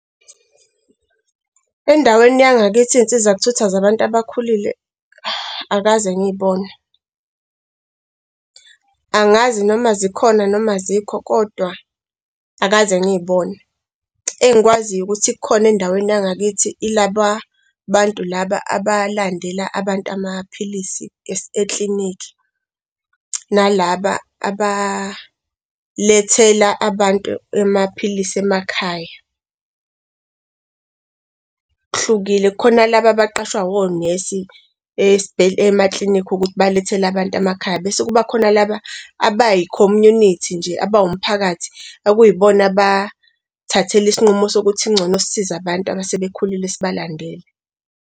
Endaweni yangakithi iy'nsiza ukuthutha zabantu abakhulile, angikaze ngiy'bone. Angazi noma zikhona noma azikho kodwa angikaze ngiy'bone, engikwaziyo ukuthi ikhona endaweni yangakithi, yilaba bantu laba abalandela abantu amaphilisi eklinikhi na laba abalethela abantu emakhaya. Kuhlukile khona laba abaqashwa onesi emaklinikhi ukuthi balethele abantu emakhaya, bese kuba khona laba abayi-community nje abawumphakathi okuyibona abay'thathela isinqumo sokuthi kungcono sisize abantu abasebekhulile sibalandele.